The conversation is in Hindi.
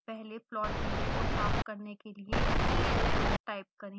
पहले प्लॉट विंडो को साफ करने के लिए clf टाइप करें